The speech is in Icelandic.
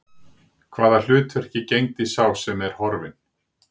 Hvaða hlutverki gegndi sá sem er horfinn?